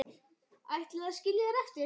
Ætlið þið að skilja þær eftir?